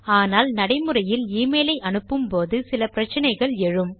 ஆனால் நடைமுறையில் எமெயில் ஐ அனுப்பும்போது சில பிரச்சினைகள் எழும்